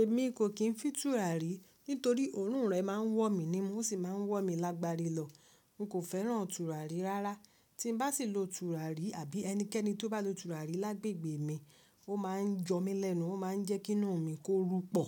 Èmi kò kìí fin tùràrí torí òórùn rẹ̀ máa ń wọ̀ mí ní mú, ó sì máa ń wọ̀ mí lágbari lọ. N kò fẹ́ràn tùràrí rárá. Tí n bá sì lo tùràrí àbí ẹnikẹ́ni tó bá lo tùràrí lágbègbè mi, ó máa ń yọ mí lẹ́nu, ó máa ń jẹ́kí inú mi kó rupọ.